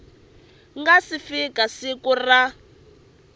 nga si fika siku ra